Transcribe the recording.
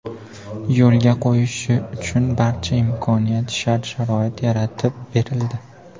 yo‘lga qo‘yishi uchun barcha imkoniyat-sharoit yaratib berildi.